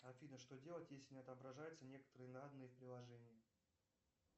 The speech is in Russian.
афина что делать если не отображаются некоторые данные в приложении